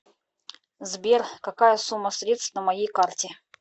сбер какая сумма средств на моей карте